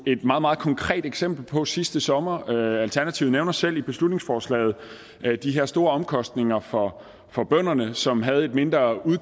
et meget meget konkret eksempel på sidste sommer alternativet nævner selv i beslutningsforslaget de her store omkostninger for for bønderne som havde et mindre